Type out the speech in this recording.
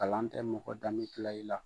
Kalan tɛ mɔgɔ danbe kila i la.